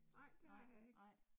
Nej, det har jeg ikke